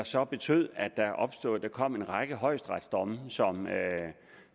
så betød at der kom en række højesteretsdomme